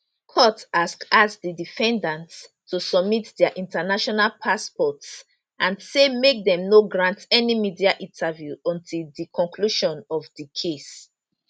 court ask ask di defendants to submit dia international passports and say make dem no grant any media interview until di conclusion of di case